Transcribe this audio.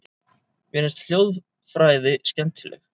Mér finnst hljóðfræði skemmtileg.